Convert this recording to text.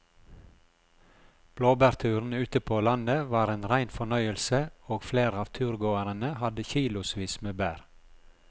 Blåbærturen ute på landet var en rein fornøyelse og flere av turgåerene hadde kilosvis med bær.